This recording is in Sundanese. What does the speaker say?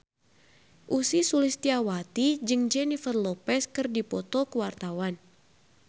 Ussy Sulistyawati jeung Jennifer Lopez keur dipoto ku wartawan